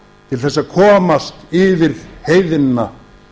til þess að komast yfir heiðina